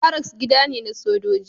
Baracks gida ne na sojoji.